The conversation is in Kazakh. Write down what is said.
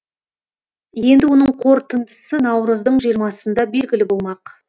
енді оның қорытындысы наурыздың жиырмасында белгілі болмақ